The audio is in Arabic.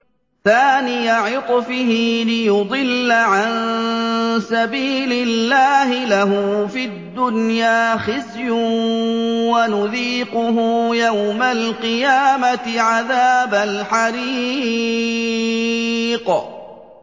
ثَانِيَ عِطْفِهِ لِيُضِلَّ عَن سَبِيلِ اللَّهِ ۖ لَهُ فِي الدُّنْيَا خِزْيٌ ۖ وَنُذِيقُهُ يَوْمَ الْقِيَامَةِ عَذَابَ الْحَرِيقِ